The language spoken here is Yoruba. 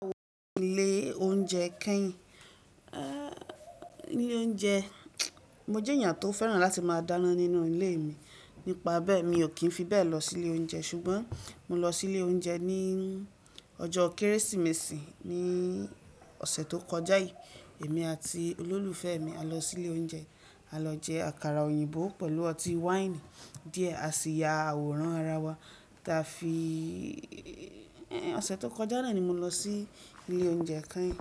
Mo tí lé oúnjẹ káìn. Ní ilé oúnjẹ, mo jẹ́ èèyàn tó fẹ́ràn láti máa dáná nínú ilé mi. Nípa bẹ́ẹ̀ mi ò kí ń fi bẹ́ẹ̀ lọ sí ilé oúnjẹ ṣùgbọ́n mo lọ sí ilé oúnjẹ ní ọjọ́ Kérésìmesì ní ọ̀sẹ̀ tó kọjá yìí. Èmi àti olólùfẹ́ mi a lọ sí ilé oúnjẹ, a lọ jẹ àkàrà òyìnbó pẹ̀lú ọtí wáìnì díẹ̀, a sì ya àwòrán ara wa. Táa fi, ọ̀sẹ̀ tó kọjá náà ni mo lọ sí ilé oúnjẹ káìn.